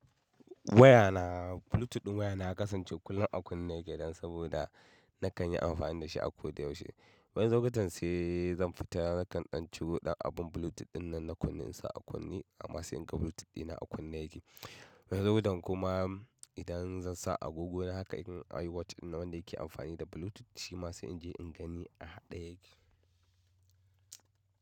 Waya na Bluetooth ɗin wayana ya kasance kullum a kunne na ke dan saboda na kan yi amfani da shi a ko da yaushe. Wani lokutan sai zan fita na kan ɗan ciro ɗan abin Bluetooth ɗin nan na kunne in sa a kunne amma sai in ga Bluetooth dina a kunne yake. Wani lokutan kuma idan zan sa agogo na haka in iwatch ɗin nan wanda yake amfani da Bluetooth shi ma sai in je in gani a haɗe yake.